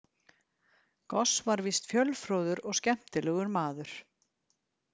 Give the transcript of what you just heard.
Goos var víst fjölfróður og skemmtilegur maður.